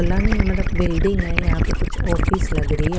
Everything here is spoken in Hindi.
फलानी मतलब वल्डिंग हे यहाँ पर कुछ ऑफिस लग रही है।